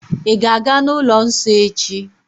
Ị̀ ga-aga n'ụlọ nsọ echi?